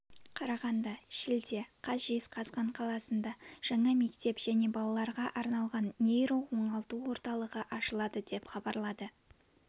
қарағанды шілде қаз жезқазған қаласында жаңа мектеп және балаларға арналған нейро оңалту орталығы ашылады деп хабарлады